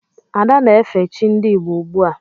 Ada na-efe chi ndị Igbo ugbua.